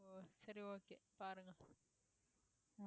சரி okay பாருங்க